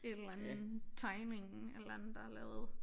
Et eller andet tegning et eller andet der er lavet